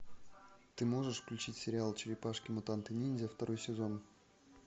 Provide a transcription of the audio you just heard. ты можешь включить сериал черепашки мутанты ниндзя второй сезон